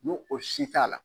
N'o o si t'a la!